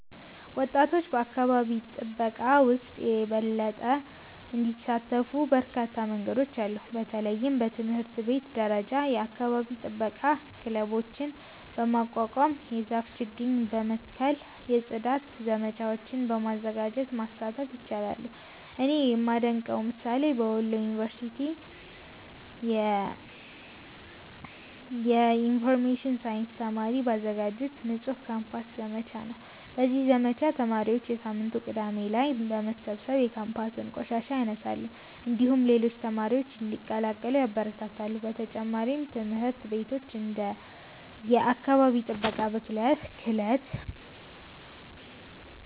ወጣቶች በአካባቢ ጥበቃ ውስጥ የበለጠ እንዲሳተፉ በርካታ መንገዶች አሉ። በተለይም በትምህርት ቤት ደረጃ የአካባቢ ጥበቃ ክለቦችን በማቋቋም፣ የዛፍ ችግኝ በመትከል፣ የጽዳት ዘመቻዎችን በማዘጋጀት መሳተፍ ይችላሉ። እኔ የማደንቀው ምሳሌ በወሎ ኪዮት ዩኒቨርሲቲ የኢንፎርሜሽን ሳይንስ ተማሪዎች ባዘጋጁት “ንጹህ ካምፓስ” ዘመቻ ነው። በዚህ ዘመቻ ተማሪዎች በየሳምንቱ ቅዳሜ ላይ በመሰብሰብ የካምፓሱን ቆሻሻ ያነሳሉ፣ እንዲሁም ሌሎች ተማሪዎችን እንዲቀላቀሉ ያበረታታሉ። በተጨማሪም ትምህርት ቤቶች እንደ “የአካባቢ ጥበቃ